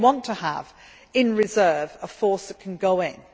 You may want to have in reserve a force that can go